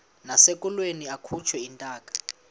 nasekulweni akhutshwe intaka